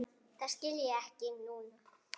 Það skil ég núna.